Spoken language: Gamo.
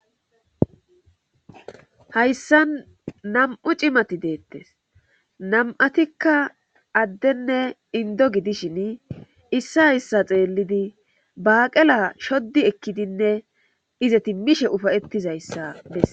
Hayssa nam'u cimati deettes nam7atikka addenne indo gidishin issa hyssa xeellidi baaqela shoddi ekkidinne ize timmishe ufayettizayssa bessa